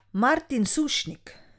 Martin Sušnik!